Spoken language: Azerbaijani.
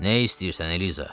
Nə istəyirsən, Elza?